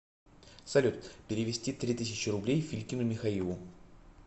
салют перевести три тысячи рублей филькину михаилу